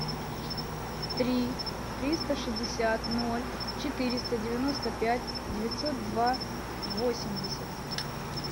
три триста шестьдесят ноль четыреста девяносто пять девятьсот два восемьдесят